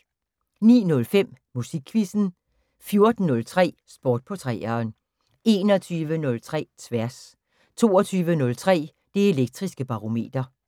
09:05: Musikquizzen 14:03: Sport på 3'eren 21:03: Tværs 22:03: Det Elektriske Barometer